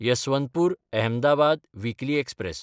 Yesvantpur-Ahmedabad weekly express